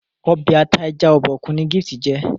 Ọbẹ̀ ata ẹja Obokun ni Gift jé